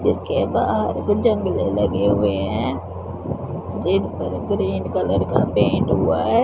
जिसके बाहर कुछ जंगले लगे हुए हैं जिनपर ग्रीन कलर का पेंट हुआ है।